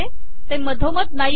ते मधोमध नाही आहे